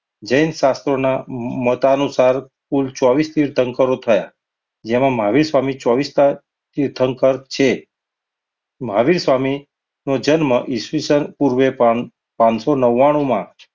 જૈન શાસ્ત્રોના મત અનુસાર કુલ ચોવીસ તીર્થંકર થયા. જેમાં મહાવીર સ્વામી ચોવીસ માં તીર્થંકર છે. મહાવીર સ્વામી નો જન્મ ઈસવીસન પૂર્વે પાન~પાનસો નવ્વાણુમાં